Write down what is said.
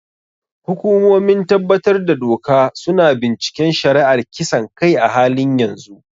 Hukumomin tabbatar da doka su na binciken shari'ar kisan kai a halin yanzu.